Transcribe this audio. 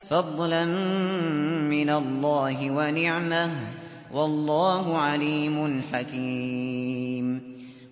فَضْلًا مِّنَ اللَّهِ وَنِعْمَةً ۚ وَاللَّهُ عَلِيمٌ حَكِيمٌ